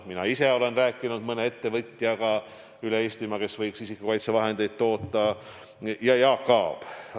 Mina ise olen rääkinud üle Eesti mõne ettevõtjaga, kes võiks isikukaitsevahendeid toota, samuti on seda teinud Jaak Aab.